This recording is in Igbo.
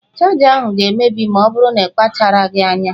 Chaja ahụ ga-emebi ma ọ bụrụ na-ịkpacharaghị anya.